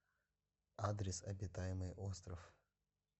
адрес обитаемый остров